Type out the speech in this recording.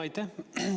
Aitäh!